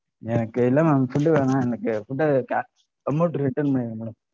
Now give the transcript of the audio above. எனக்கு இல்ல madam food வேணாம் எனக்கு amount அ return பண்ணிடுங்க madam